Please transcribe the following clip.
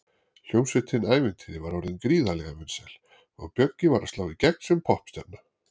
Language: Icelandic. Hljómsveitin Ævintýri var orðin gríðarlega vinsæl og Bjöggi var að slá í gegn sem poppstjarna.